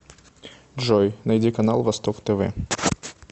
джой найди канал восток тв